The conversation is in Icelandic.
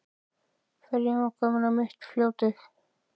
Ferjan var komin á mitt fljótið.